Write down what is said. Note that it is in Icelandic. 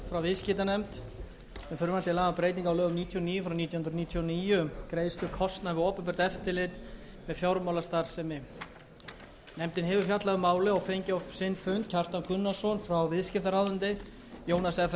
á lögum númer níutíu og níu nítján hundruð níutíu og níu um greiðslu kostnaðar við opinbert eftirlit með fjármálastarfsemi nefndin hefur fjallað um málið og fengið á sinn fund kjartan gunnarsson frá viðskiptaráðuneyti jónas fr